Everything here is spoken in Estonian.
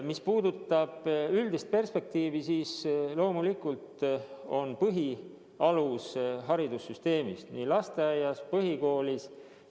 Mis puudutab üldist perspektiivi, siis loomulikult alus- ja põhiharidussüsteemile – nii lasteaiale kui ka põhikoolile.